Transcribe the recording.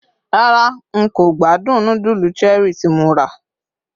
rara n ko gbádùn nudulu Cherie tí mo ra